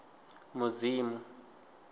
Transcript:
mudzimu